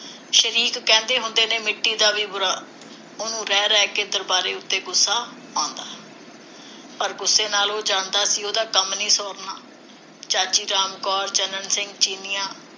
ਸ਼ਰੀਕ ਕਹਿੰਦੇ ਹੁੰਦੇ ਨੇ, ਮਿੱਟੀ ਦਾ ਵੀ ਬੁਰਾ ਉਹਨੂੰ ਰਹਿ ਰਹਿ ਕੇ ਦਰਬਾਰੇ ਉਤੇ ਗੁੱਸਾ ਆਉਂਦਾ। ਪਰ ਗੁੱਸੇ ਨਾਲ ਉਹ ਜਾਣਦਾ ਸੀ, ਉਹਦਾ ਕੰਮ ਨਹੀਂ ਸੌਰਨਾ। ਚਾਚੀ ਰਾਮ ਕੌਰ, ਚੰਨਣ ਸਿੰਘ ਚੀਨੀਆਂ,